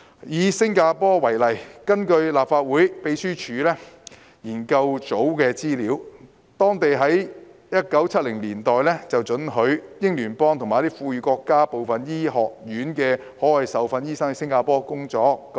"以新加坡為例，根據立法會秘書處資料研究組的資料，當地在1970年代准許英聯邦和富裕國家部分醫學院的海外受訓醫生到新加坡工作。